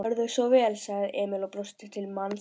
Gjörðu svo vel, sagði Emil og brosti til mannsins.